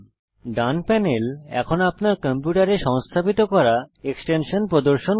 ডান panel এখন আপনার কম্পিউটারে সংস্থাপিত করা এক্সটেনশানস প্রদর্শন করে